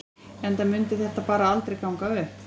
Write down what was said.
Eða mundi þetta bara aldrei ganga upp?